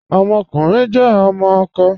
Ọmọkùnrin jẹ ọmọ akọ.